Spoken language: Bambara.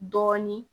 Dɔɔnin